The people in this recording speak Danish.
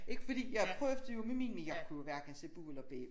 Ikke fordi jeg prøvede jo med min men jeg kunne jo hverken se bu eller bæ